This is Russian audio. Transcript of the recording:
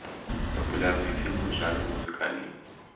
популярные фильмы в жанре музыкальный